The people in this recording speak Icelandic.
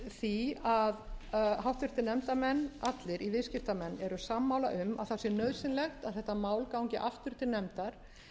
því að háttvirtur nefndarmenn allir í viðskiptanefnd eru sammála um að það sé nauðsynlegt að þetta mál gangi aftur til nefndar